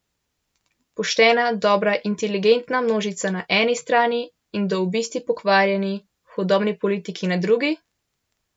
Poštena, dobra, inteligentna množica na eni strani in do obisti pokvarjeni, hudobni politiki na drugi?